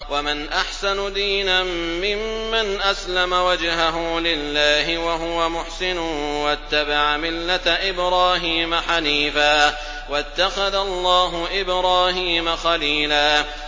وَمَنْ أَحْسَنُ دِينًا مِّمَّنْ أَسْلَمَ وَجْهَهُ لِلَّهِ وَهُوَ مُحْسِنٌ وَاتَّبَعَ مِلَّةَ إِبْرَاهِيمَ حَنِيفًا ۗ وَاتَّخَذَ اللَّهُ إِبْرَاهِيمَ خَلِيلًا